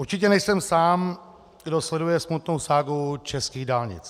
Určitě nejsem sám, kdo sleduje smutnou ságu českých dálnic.